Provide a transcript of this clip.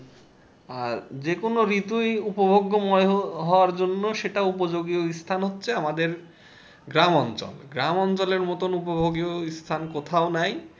আর যে কোনো ঋতুই উপভোগ্যময় হ~হওয়ার জন্য সেটা উপযোগী অনুষ্ঠান হচ্ছে আমাদের গ্রাম অঞ্চল গ্রাম অঞ্চলের মতোন উপভোগী অনুষ্ঠান কোথায় নাই।